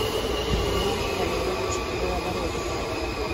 андрей валерьевич белобородов